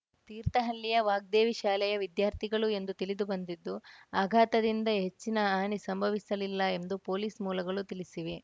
ತೀರ್ಥಹಳ್ಳಿಯ ವಾಗ್ದೇವಿ ಶಾಲೆಯ ವಿದ್ಯಾರ್ಥಿಗಳು ಎಂದು ತಿಳಿದು ಬಂದಿದ್ದು ಅಘಾತದಿಂದ ಹೆಚ್ಚಿನ ಹಾನಿ ಸಂಭವಿಸಲಿಲ್ಲ ಎಂದು ಪೊಲೀಸ್‌ ಮೂಲಗಳು ತಿಳಿಸಿವೆ